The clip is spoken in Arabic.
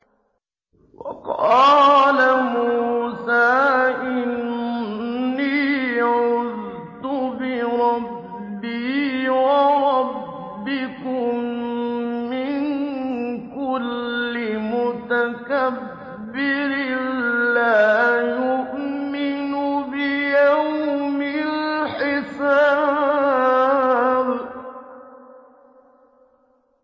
وَقَالَ مُوسَىٰ إِنِّي عُذْتُ بِرَبِّي وَرَبِّكُم مِّن كُلِّ مُتَكَبِّرٍ لَّا يُؤْمِنُ بِيَوْمِ الْحِسَابِ